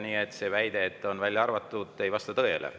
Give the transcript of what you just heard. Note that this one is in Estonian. Nii et see väide, et nad on välja arvatud, ei vasta tõele.